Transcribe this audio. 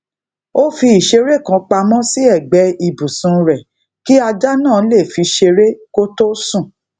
ó fi ìṣeré kan pamo sí ègbé ibùsùn rè kí ajá náà lè fi ṣeré kó tó sùn